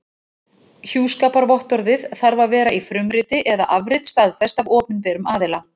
Hjúskaparvottorðið þarf að vera í frumriti eða afrit staðfest af opinberum aðila.